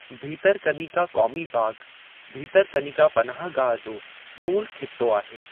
भीतरकनिका क़ौमी बाग़ भीतरकनिका पनाह गाह जो मूलु ख़ित्तो आहे।